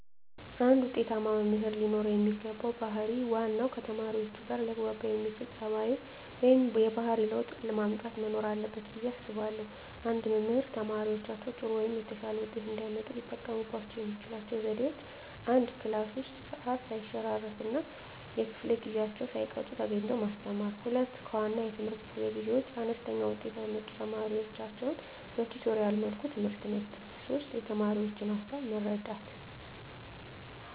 አንድ ውጤታማ መምህር ለኖረው የሚገባው ባህር ዋናው ከተማሪዎቹጋ ሊያግባባ የሚያስችል ፀባዩ ወይም የባህሪ ለውጥ ማምጣት መኖር አለበት ብየ አስባለሁ። አንድ መምህር ተማሪዎቻቸው ጥሩ ወይም የተሻለ ውጤት እንዲያመጡ ሊጠቀሙባቸው የሚችሏቸው ዘዴዎች፦ 1, ክላስ ውስጥ ሰዓት ሰይሸራርፍ እና ከፈለ ጊዜአቸውን ሳይቀጡ ተገኝተው ማስተማር። 2, ከዋና የትምህርት ክፍለ ጊዜ ውጭ አነስተኛ ውጤት ያመጡ ተማሪዎቻቸውን በቲቶሪያል መልኩ ትምህርት መስጠት። 3, የተማሪዎቻቸውን ሀሳብ መረዳት